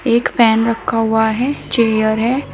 एक फैन रखा हुआ है चेयर है।